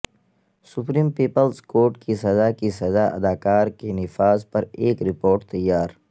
supreme people's court کی سزا کے سزا اداکار کے نفاذ پر ایک رپورٹ تیار